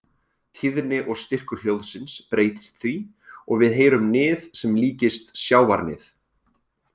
Tíðni og styrkur hljóðsins breytist því og við heyrum nið sem líkist sjávarnið.